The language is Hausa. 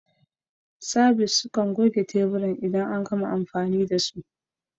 Sabis sukan goge teburan idan an gama amfani da su.